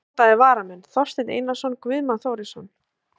Ónotaðir varamenn: Þorsteinn Einarsson, Guðmann Þórisson.